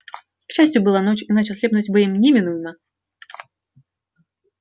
к счастью была ночь иначе ослепнуть бы им неминуемо